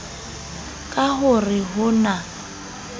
ka ho re ho na